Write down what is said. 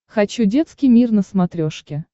хочу детский мир на смотрешке